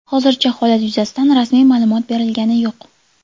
Hozircha holat yuzasidan rasmiy ma’lumot berilgani yo‘q.